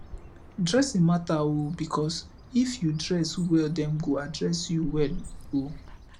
dressing mata o bikos if yu dress wel dem go address yu wel o